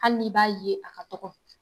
Hali ni i b'a ye a ka dɔgɔ.